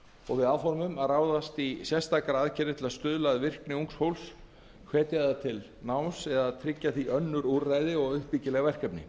og er áformað að ráðast í sérstakar aðgerðir til að stuðla að virkni ungs fólks hvetja það til náms eða tryggja því önnur úrræði og uppbyggileg verkefni